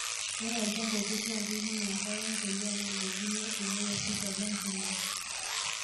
Ore olchamba opir naa keipimo enkare empulia narukokino eng'ua orpipa lembulia.